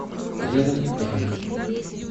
рядом эйр